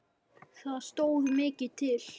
Það stóð mikið til.